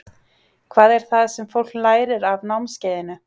Hvað er það sem fólk lærir af námskeiðinu?